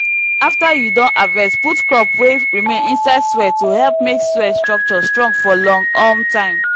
after you don harvest put crop wey remain inside soil to help make soil structure strong for long um time